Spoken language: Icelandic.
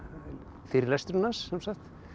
fyrirlesturinn hans sem sagt